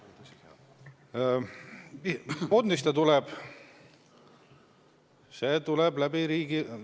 Mis fondist see tuleb?